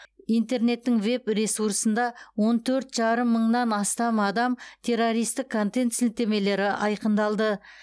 интернеттің веб ресурсында он төрт жарым мыңнан астам адам террористік контент сілтемелері айқындалды